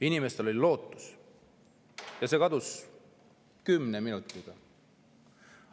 Inimestel oli lootus, aga see kadus kümne minutiga.